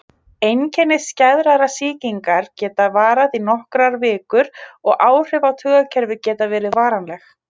Einkenni skæðrar sýkingar geta varað í nokkrar vikur og áhrif á taugakerfið geta verið varanleg.